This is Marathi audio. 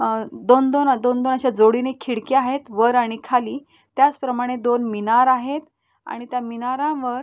अ दोन दोन दोन दोन अशा जोडीने खिडक्या आहेत वर आणि खाली. त्याच प्रमाणे दोन मिनार आहेत. आणि त्या मिनारांवर --